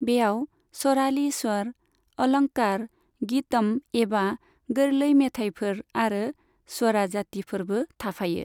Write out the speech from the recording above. बेयाव सराली स्वर, अलंकार, गीतम एबा गोरलै मेथाइफोर आरो स्वराजातिफोरबो थाफायो।